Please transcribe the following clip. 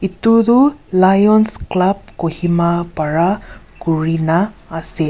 itu du Lions club Kohima para kurina ase.